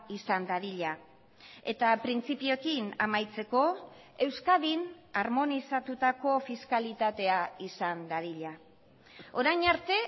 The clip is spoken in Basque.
izan dadila eta printzipioekin amaitzeko euskadin harmonizatutako fiskalitatea izan dadila orain arte